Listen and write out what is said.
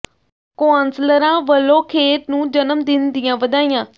ਕੌ ਾਸਲਰਾਂ ਵੱਲੋਂ ਖੇਰ ਨੂੰ ਜਨਮ ਦਿਨ ਦੀਆਂ ਵਧਾਈਆਂ